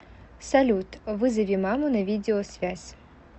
салют вызови маму на видеосвязь